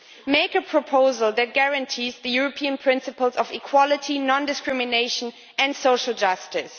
Make a proposal that guarantees the European principles of equality, non-discrimination and social justice.